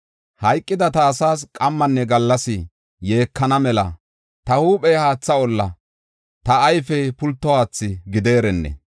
Hayqida ta asaas qammanne gallas yeekana mela ta huuphey haatha olla, ta ayfey pulto haathi gideerenne.